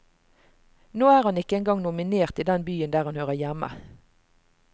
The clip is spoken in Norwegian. Nå er han ikke engang nominert i den byen der han hører hjemme.